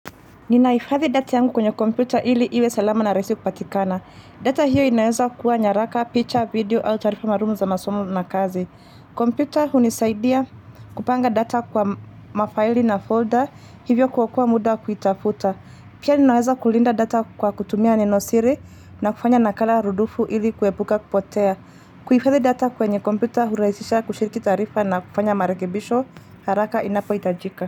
Ninaifadhi data yangu kwenye kompyuta ili iwe salama na rahisi kupatikana. Data hiyo inaweza kuwa nyaraka, picture, video au tarifa marumu za masomo na kazi. Kompyuta hunisaidia kupanga data kwa mafaili na folder hivyo kuokoa muda kuitafuta. Pia ninaweza kulinda data kwa kutumia nenosiri na kufanya nakala rudufu ili kuepuka kupotea. Kuifadhi data kwenye komputa huraisisha kushiriki tarifa na kufanya marekebisho haraka inapo itajika.